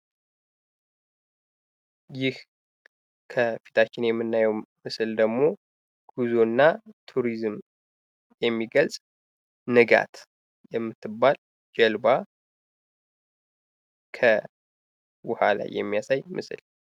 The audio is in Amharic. ይህ ከፊታችን የምናየው ምስል ደሞ ጉዞና ቱሪዝምን የሚገልጽ ንጋት የምትባል ጀልባ ከውሃ ላይ የሚያሳይ ምስል ነው።